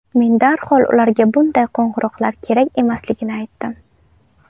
Men darhol ularga bunday qo‘ng‘iroqlar kerak emasligini aytdim.